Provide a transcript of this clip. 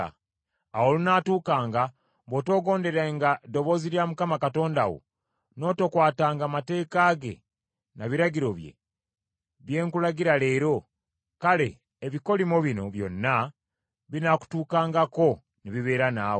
Awo olunaatuukanga bw’otoogonderenga ddoboozi lya Mukama Katonda wo, n’otokwatanga mateeka ge na biragiro bye, bye nkulagira leero, kale ebikolimo bino byonna binaakutuukangako ne bibeera naawe: